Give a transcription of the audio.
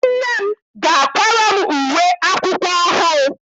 Nne m ga-akwara m uwe akwụkwọ ọhụụ.